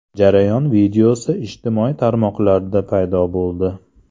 Jarayon videosi ijtimoiy tarmoqlarda paydo bo‘ldi.